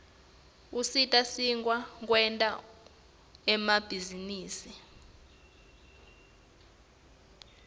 usita sikwati kwenta emabhizinisi